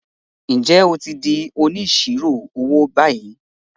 Ǹjẹ́ o ti di “ Onísirò owó " báyìí?